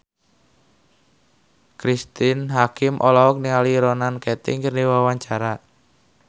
Cristine Hakim olohok ningali Ronan Keating keur diwawancara